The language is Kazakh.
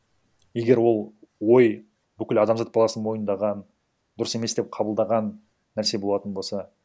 егер ол ой бүкіл адамзат баласы мойындаған дұрыс емес деп қабылдаған нәрсе болатын болса